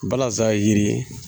Balazan yiri